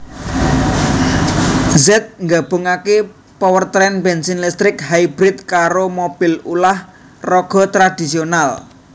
Z nggabungake powertrain bensin listrik hybrid karo mobil ulah raga tradisional